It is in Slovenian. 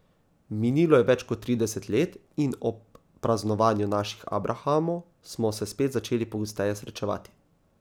Minilo je več kot trideset let in ob praznovanju naših abrahamov smo se spet začeli pogosteje srečevati.